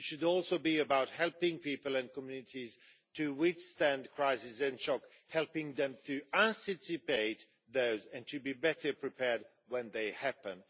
They should also be about helping people and communities to withstand crises and shocks, and helping them to anticipate those and to be better prepared when they happen.